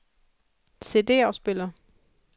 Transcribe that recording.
CD-afspiller